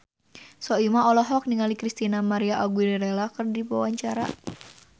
Soimah olohok ningali Christina María Aguilera keur diwawancara